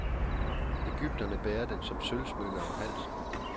Egypterne bærer den som sølvsmykke om halsen.